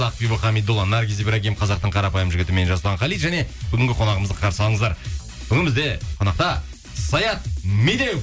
ақбибі хамидолла наргиз ибрагим қазақтың қарапайым жігіті мен жасұлан қали және бүгінгі қонағымызды қарсы алыңыздар бүгін бізде қонақта саят медеуов